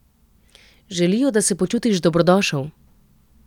Želijo, da se počutiš dobrodošel.